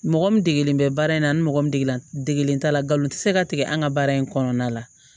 Mɔgɔ min degelen bɛ baara in na ani mɔgɔ min degelen degelen t'a la nkalon tɛ se ka tigɛ an ka baara in kɔnɔna la